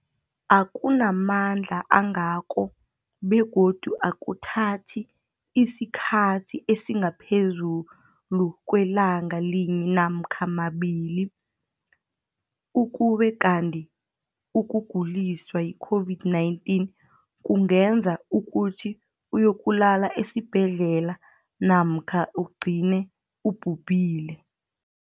akuna mandla angako begodu akuthathi isikhathi esingaphezulu kwelanga linye namkha mabili, ukube kanti ukuguliswa yi-COVID-19 kungenza ukuthi uyokulala esibhedlela namkha ugcine ubhubhile.